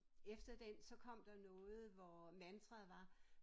Efter den så kom der noget hvor mantraet var